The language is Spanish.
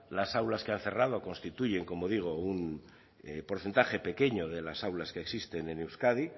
las aulas que han cerrado constituyen como digo un porcentaje pequeño de las aulas que existen en euskadi